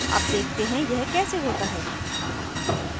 अब देखते हैं यह कैसे होता है